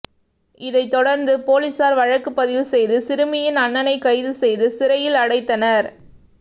இதைத்தொடர்ந்து பொலிசார் வழக்கு பதிவு செய்து சிறுமியின் அண்ணனை கைது செய்து சிறையில் அடைத்தனர்